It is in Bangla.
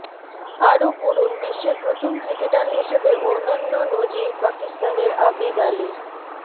আরও পড়ুন বিশ্বের প্রথম ক্রিকেটার হিসেবে অনন্য নজির পাকিস্তানের আবিদ আলির